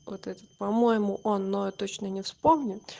вот этот по-моему он но я точно не вспомню